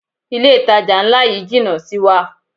Ilé ìtajà ńlá yí jìnà sí wa.